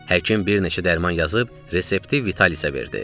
Həkim bir neçə dərman yazıb, resepti Vitalisə verdi.